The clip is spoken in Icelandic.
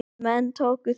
Menn tóku því.